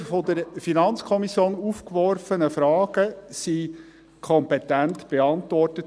Die von der FiKo aufgeworfenen Fragen wurden kompetent beantwortet.